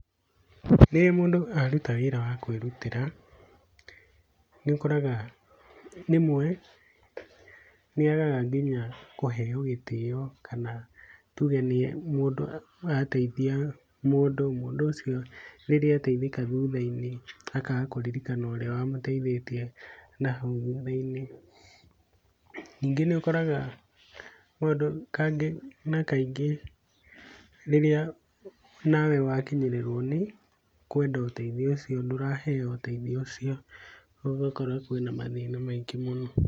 Rĩrĩa mũndũ aruta wĩra wa kwĩrutĩra nĩ ũkoraga rĩmwe nĩ agaga nginya kũheo gĩtĩo kana tũge mũndũ arateithia mũndũ mũndũ ũcio rĩrĩa ateithĩka thutha-inĩ akaga kũririkana ũrĩa wamũteithĩtie nahau thutha-inĩ, ningĩ nĩ ũkoraga kaingĩ na kaingĩ rĩrĩa nawe wakinyĩrĩrwo nĩ kwenda ũteithio ũcio ndũraheo ũteithio ũcio ũgakora kwĩna mathĩna maingĩ mũno.